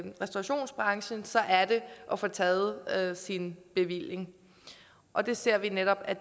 restaurationsbranchen så er det at få taget sin bevilling og vi ser netop at